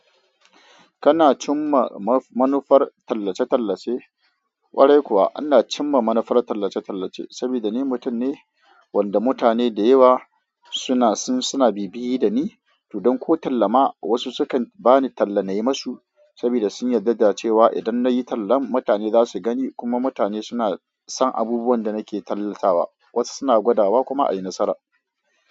Kana cimma manufar tallace-tallace? Warai kuwa, ana cimma manufar tallace-tallace sabida ni mutum ne wanda mutane da yawa suna sun bibiye da ni, to don ko tallama wasu sukan bani tallanai masu sabida sun yarda cewa idan na yi tallan mutane za su gani kuma mutane suna son abubuwan da nake tallatawa. Wasu suna gwadawa kuma a yi nasara.